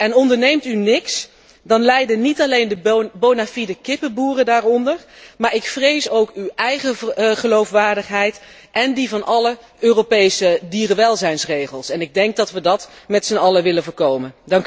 En onderneemt u niets, dan lijden niet alleen de bonafide kippenboeren daaronder, maar ik vrees ook uw eigen geloofwaardigheid en die van alle Europese dierenwelzijnsregels en ik denk dat wij dat met zijn allen willen voorkomen.